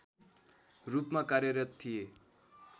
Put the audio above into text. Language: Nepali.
रूपमा कार्यरत थिए